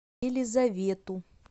елизавету